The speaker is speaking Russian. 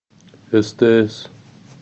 стс